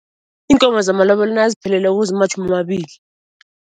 Iinkomo zamalobolo nazipheleleko zimatjhumi amabili.